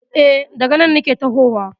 E, daga cen nake tahowa.